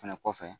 Fɛnɛ kɔfɛ